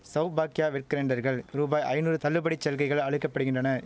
சவ்பாக்கியா வெட்கிரைண்டர்கள் ரூபாய் ஐநூறு தள்ளுபடி சலுகைகள் அளிக்கப்படிகின்றன